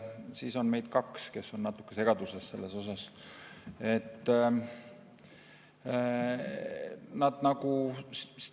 Siis on meid kaks, kes me oleme selles osas natuke segaduses.